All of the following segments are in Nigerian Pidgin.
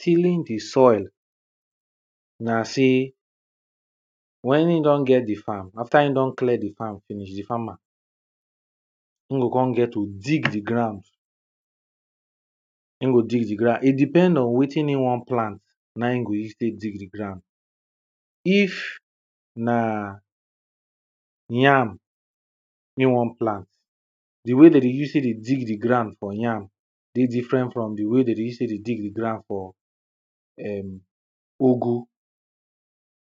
Tilling di soil na sey, wen e don get di farm after e don clear di farm finish, di farmer e go come get to dig di ground,e go dig di ground.E depend on wetin e won plant na e go use tek dig di ground, if na yam e won plant, di way wen dem dey use tek dey dig di ground for yam dey different from di way dem dey use tek dey dig di ground for um ugu,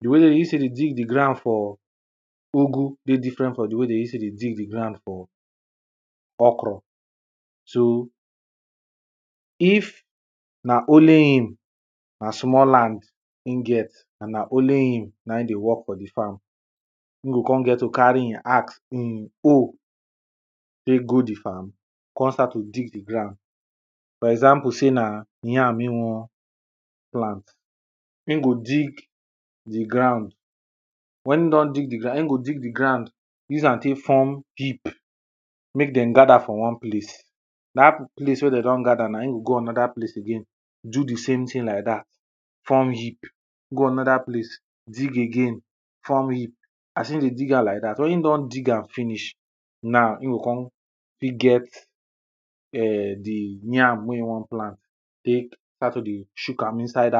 di way dem dey use tek dey dig di ground for ugu dey different from di way dem dey use tek dey dig di ground for okro. So if na only him, na small land e get and na only him na dey work for di farm,e go come get to carry e axe,e hoe tek go di farm come start to dey di the ground. For example sey na yam e won plant,e go dig di ground, wen e don dig di ground,e go dig di ground use am tek form heap mek dem gather for one place, dat place wen dey don gather na,e go go another place do di same thing like dat form heap, go another place dig again form heap, as e dey dig am like dat, so wen e don dig am finish na e go come fit get di [um]yam wen e won plant tek start to dey shook am inside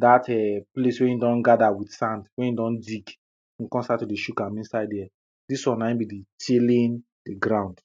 dat um place wen e don gather with sand ,wen he don dig e go come start to dey shook am inside dere. Dis one na be tilling di ground.